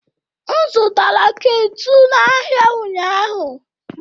M zụtara ketụ n'ahịa ụnyaahụ